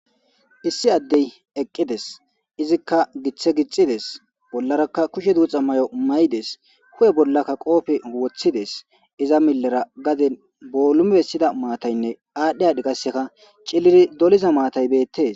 issi addey eqqides izikka giththe gixides bollarakka kushe duuxa may7o may7ides hu7e bollakka qoofe woththides iza millera gaden boolume bessida maataynne aadhdhe ad gaseka cilili doliza maatay beettes